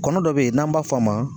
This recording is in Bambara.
Kɔnɔ dɔ bɛ yen n'an b'a f'a ma